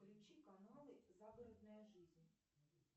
включи каналы загородная жизнь